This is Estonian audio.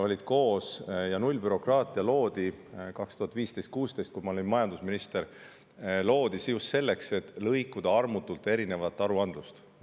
Nullbürokraatia loodi 2015–2016, kui ma olin majandusminister, just selleks, et armutult lõikuda igasugu aruandlust.